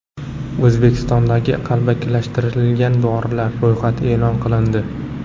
O‘zbekistondagi qalbakilashtirilgan dorilar ro‘yxati e’lon qilindi.